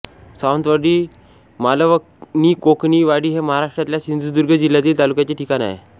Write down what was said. सावंतवाडी मालवणीकोकणी वाडी हे महाराष्ट्रातल्या सिंधुदुर्ग जिल्हातील तालुक्याचे ठिकाण आहे